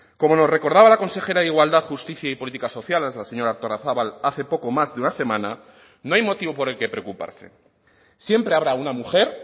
como nos recordaba la consejera de igualdad justicia y políticas sociales la señora artolazabal hace poco más de una semana no hay motivo por el que preocuparse siempre habrá una mujer